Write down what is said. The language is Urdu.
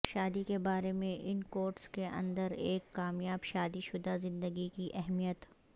شادی کے بارے میں ان کوٹس کے اندر ایک کامیاب شادی شدہ زندگی کی اہمیت